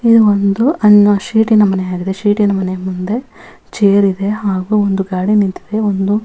ಇದು ಒಂದು ಅನ್ನ ಶೀಟಿನ ಮನೆಯಾಗಿದೆ ಶೀಟಿನ ಮನೆಯ ಮುಂದೆ ಚೇರ್ ಇದೆ ಹಾಗು ಒಂದು ಗಾಡಿ ನಿಂತಿದೆ ಒಂದು --